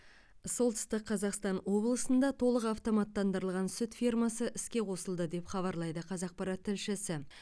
солтүстік қазақстан облысында толық автоматтандырылған сүт фермасы іске қосылды деп хабарлайды қазақпарат тілшісі